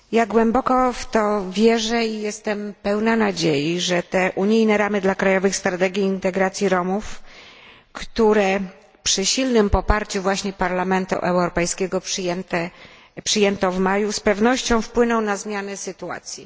Głęboko w to wierzę i jestem pełna nadziei, że unijne ramy dla krajowych standardów integracji Romów, które przy silnym poparciu Parlamentu Europejskiego przyjęto w maju, z pewnością wpłyną na zmianę sytuacji.